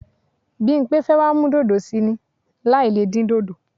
Bímpé fẹ́ wá mú dòdò sí í ni láì le dín dòdò.